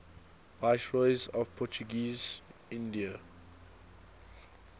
viceroys of portuguese india